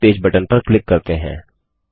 homepage button पर click करते हैं